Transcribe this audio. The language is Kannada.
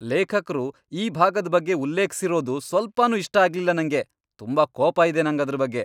ಲೇಖಕ್ರು ಈ ಭಾಗದ್ ಬಗ್ಗೆ ಉಲ್ಲೇಖ್ಸಿರೋದು ಸ್ವಲ್ಪನೂ ಇಷ್ಟ ಆಗ್ಲಿಲ್ಲ ನಂಗೆ.. ತುಂಬಾ ಕೋಪ ಇದೆ ನಂಗದ್ರ್ ಬಗ್ಗೆ.